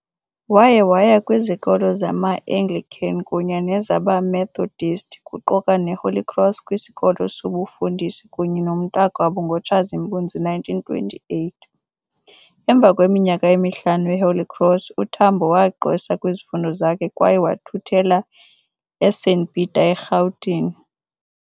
Waye waya kwizikolo zama-Anglican kunye nezabe-Methodist, kuquka ne-Holy Cross kwisikolo sobufundisi kunye nomntakwabo ngo Tshazimpuzi 1928. Emva kweminyaka emihlanu e-Holy Cross, uTambo wagqwesa kwizifundo zakhe kwaye wathuthela eSt Peter eRhawutini.